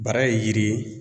Bara ye yiri ye